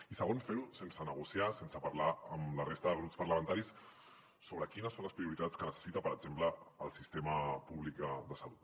i segon fer ho sense negociar sense parlar amb la resta de grups parlamentaris sobre quines són les prioritats que necessita per exemple el sistema públic de salut